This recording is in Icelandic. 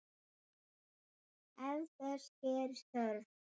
Ef þess gerist þörf